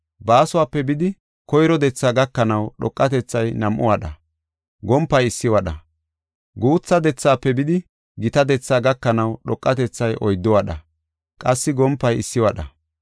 Baasuwape bidi, koyro dethaa gakanaw dhoqatethay nam7u wadha; gompay issi wadha. Guutha dethaafe bidi gita dethaa gakanaw dhoqatethay oyddu wadha; qassi gompay issi wadha.